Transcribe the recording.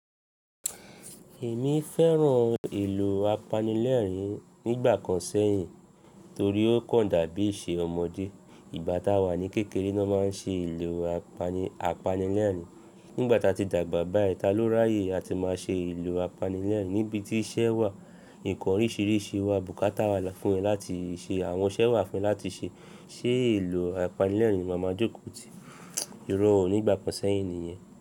Èmi fẹ́ràn ìlò apanilẹ́ẹ̀rín nígbà kan sẹ́yìn torí ó kàn dàbí ìṣe ọmọdé. Ìgbà táa wà ní kékeré ni won má n ṣe ìlu apanilẹ́ẹ̀rín, nígbà táa ti dàgbà bá yìí ta ló ráyè á ti má ṣe ìlu apanilẹ́ẹ̀rín níbití iṣẹ́ wà, ǹkan oríṣìíríṣìí wà, bùkátà wà fún ẹ láti ṣe, àwọn iṣẹ́ wà fún ẹ láti ṣe. Ṣé ìlù apanilẹ́ẹ̀rín ni máa máa jókòó ti? Irọ́ ò nígbà kan sẹ́yìn nìyẹn.